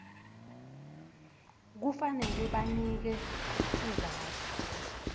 kufanele banike sizatfu